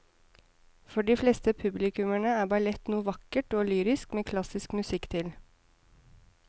For de fleste publikummere er ballett noe vakkert og lyrisk med klassisk musikk til.